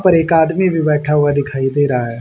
पर एक आदमी भी बैठा हुआ दिखाई दे रहा है।